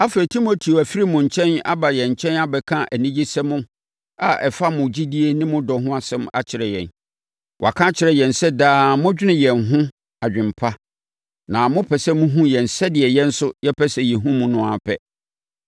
Afei, Timoteo afiri mo nkyɛn aba yɛn nkyɛn abɛka anigyesɛm a ɛfa mo gyidie ne mo dɔ ho asɛm akyerɛ yɛn. Waka akyerɛ yɛn sɛ daa modwene yɛn ho adwene pa na mopɛ sɛ mohunu yɛn sɛdeɛ yɛn nso yɛpɛ sɛ yɛhunu mo no ara pɛ.